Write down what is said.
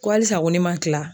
Ko halisa ko ne ma tila?